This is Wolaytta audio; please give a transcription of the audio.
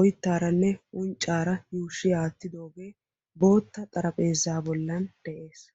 oyittaaranne unccaara yuushi aattidoogee bootta xarapheeza bollan de'es.